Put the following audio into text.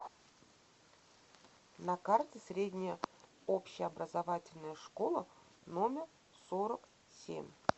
на карте средняя общеобразовательная школа номер сорок семь